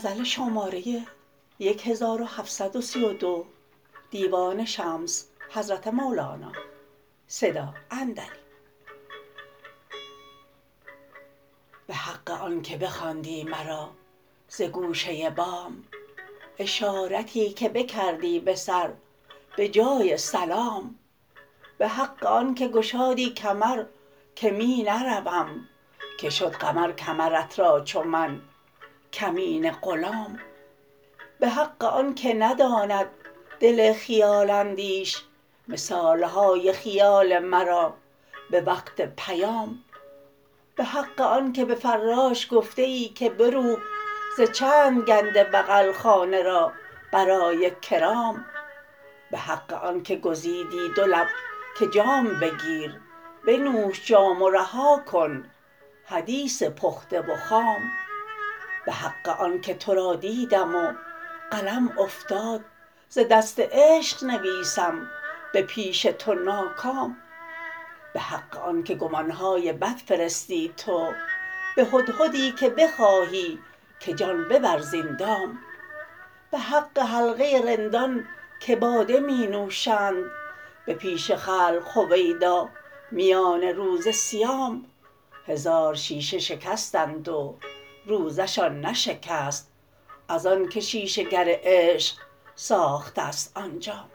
به حق آنک بخواندی مرا ز گوشه بام اشارتی که بکردی به سر به جای سلام به حق آنک گشادی کمر که می نروم که شد قمر کمرت را چو من کمینه غلام به حق آنک نداند دل خیال اندیش مثال های خیال مرا به وقت پیام به حق آنک به فراش گفته ای که بروب ز چند گنده بغل خانه را برای کرام به حق آنک گزیدی دو لب که جام بگیر بنوش جام رها کن حدیث پخته و خام به حق آنک تو را دیدم و قلم افتاد ز دست عشق نویسم به پیش تو ناکام به حق آنک گمان های بد فرستی تو به هدهدی که بخواهی که جان ببر زین دام به حق حلقه رندان که باده می نوشند به پیش خلق هویدا میان روز صیام هزار شیشه شکستند و روزه شان نشکست از آنک شیشه گر عشق ساخته ست آن جام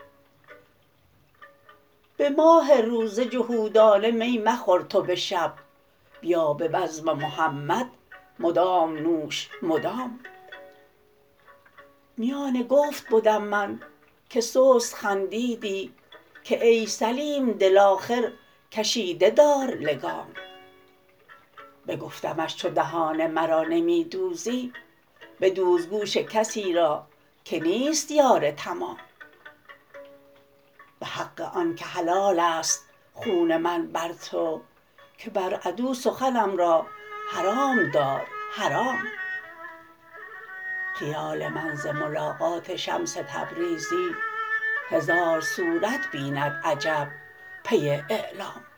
به ماه روزه جهودانه می مخور تو به شب بیا به بزم محمد مدام نوش مدام میان گفت بدم من که سست خندیدی که ای سلیم دل آخر کشیده دار لگام بگفتمش چو دهان مرا نمی دوزی بدوز گوش کسی را که نیست یار تمام به حق آنک حلال است خون من بر تو که بر عدو سخنم را حرام دار حرام خیال من ز ملاقات شمس تبریزی هزار صورت بیند عجب پی اعلام